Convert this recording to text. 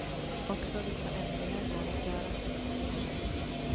Också vissa ändringar går att göra.